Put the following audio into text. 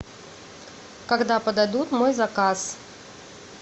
когда подадут мой заказ